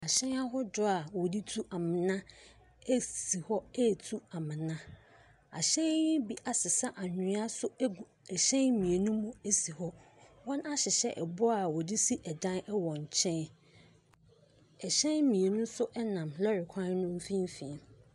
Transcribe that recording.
Ahyɛn ahodoɔ a wɔde tu amena si hɔ retu amena. Ahyɛn bi asesa anwea nso agu ahyɛn mmienu mu si hɔ. Wɔahyehyɛ boɔ a wɔde si dan wɔ nkyɛn. Hyɛn mmienu nso nam lɔre kwan no mfimfin.